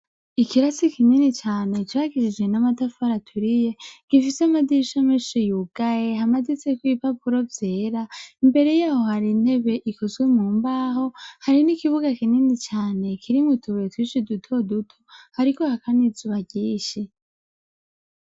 Ikirasi kinini cane cubakishije amatafari aturiye gifise amadirisha menshi yugaye amaditseko ibipapuro vyera imbere yaho hari intebe ikozwe mu mbaho hari n'ikibuga kinini cane kirimwo utubuye twinshi duto duto hariko haka n'izuba ryinshi.